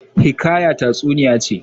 Hiƙaya tatsuniya ce.